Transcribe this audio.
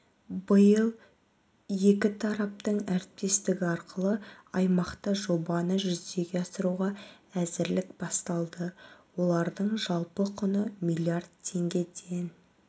биыл екі тараптың әріптестігі арқылы аймақта жобаны жүзеге асыруға әзірлік басталды олардың жалпы құны млрд теңгеден